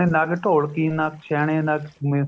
ਨਾ ਕੋਈ ਢੋਲਕੀ ਨਾ ਹੀ ਛੇਣੇ ਨਾ